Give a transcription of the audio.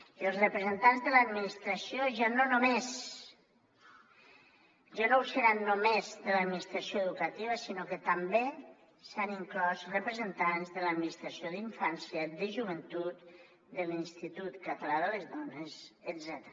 i els representants de l’administració ja no ho seran només de l’administració educativa sinó que també s’hi han inclòs representants de l’administració d’infància de joventut de l’institut català de les dones etcètera